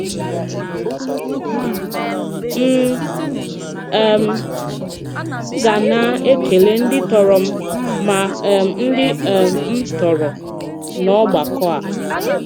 M̀ um ga-na-ekele ndị tọrọ m ma um ndị um m tọrọ n’ògbàkọ̀ a.